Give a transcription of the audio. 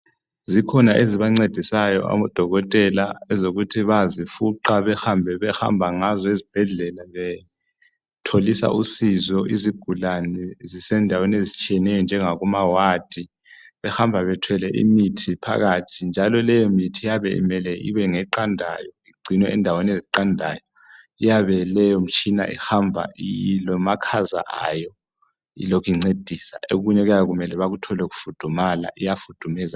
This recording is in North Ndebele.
Zikhona ezibancedisayo abodokotela ezokuthi bayazifuqa behambe behamba ngazo ezibhedlela betholisa usizo izigulane zisendaweni ezitshiyeneyo njengakumawadi behamba bethwele imithi phakathi njalo leyo mithi iyabe imele ibe ngeqandayo, igcinwe endaweni eziqandayo, iyabe leyo mtshina ihamba ilomakhaza wayo ilokincedisa, okunye okuyabe kumele bakuthole kufudumala iyafudumeza njalo.